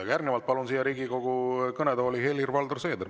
Aga järgnevalt palun Riigikogu kõnetooli Helir-Valdor Seederi.